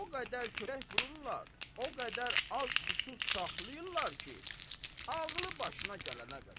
O qədər kötək vururlar, o qədər az, susuz saxlayırlar ki, ağlı başına gələnə qədər.